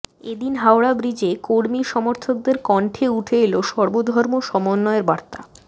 এদিন হাওড়া ব্রিজে কর্মী সমর্থকদের কণ্ঠে উঠে এল সর্বধর্ম সমন্বয়ের বার্তা